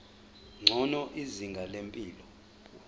ngcono izinga lempilo